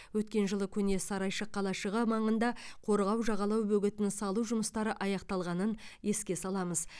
өткен жылы көне сарайшық қалашығы маңында қорғау жағалау бөгетін салу жұмыстары аяқталғанын еске саламыз